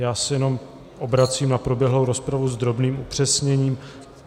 Já se jenom obracím na proběhlou rozpravu s drobným upřesněním.